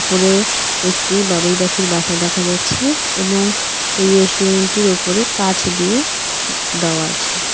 উপরে একটি বাবুই পাখির বাসা দেখা যাচ্ছে এবং এই রেস্টুরেন্টটির উপরে কাচ দিয়ে দেওয়া আছে.